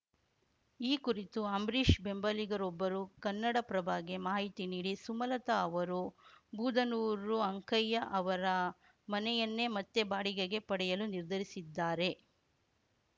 ಈ ಕುರಿತು ಅಂಬರೀಷ್‌ ಬೆಂಬಲಿಗರೊಬ್ಬರು ಕನ್ನಡಪ್ರಭಗೆ ಮಾಹಿತಿ ನೀಡಿ ಸುಮಲತಾ ಅವರು ಬೂದನೂರು ಅಂಕಯ್ಯ ಅವರ ಮನೆಯನ್ನೆ ಮತ್ತೆ ಬಾಡಿಗೆಗೆ ಪಡೆಯಲು ನಿರ್ಧರಿಸಿದ್ದಾರೆ